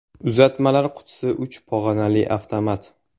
Uzatmalar qutisi uch pog‘onali avtomat.